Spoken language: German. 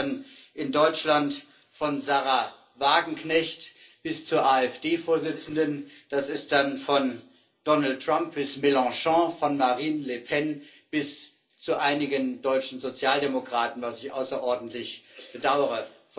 Das ist dann in Deutschland von Sahra Wagenknecht bis zur AfD Vorsitzenden, das ist dann von Donald Trump bis Mélenchon, von Marine Le Pen bis zu einigen deutschen Sozialdemokraten, was ich außerordentlich bedaure.